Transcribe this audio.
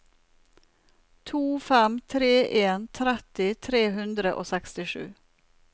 to fem tre en tretti tre hundre og sekstisju